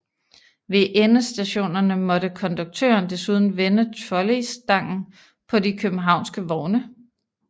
Ved endestationerne måtte konduktøren desuden vende trolleystangen på de københavnske vogne